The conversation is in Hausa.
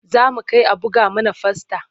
Za mu kai a buga mana fasta.